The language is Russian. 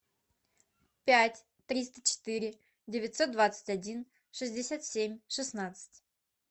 пять триста четыре девятьсот двадцать один шестьдесят семь шестнадцать